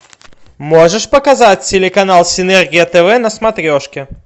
можешь показать телеканал синергия тв на смотрешке